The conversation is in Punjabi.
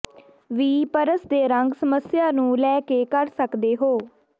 ਵੀ ਪਰਸ ਦੇ ਰੰਗ ਸਮੱਸਿਆ ਨੂੰ ਲੈ ਕੇ ਕਰ ਸਕਦੇ ਹੋ